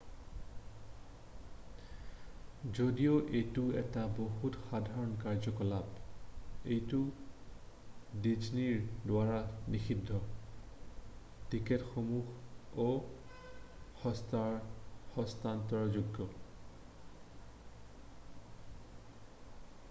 যদিও এইটো এটা বহুত সাধাৰণ কাৰ্যকলাপ এইটো ডিজনীৰ দ্বাৰা নিষিদ্ধ টিকেটসমূহ অ-হস্তান্তৰযোগ্য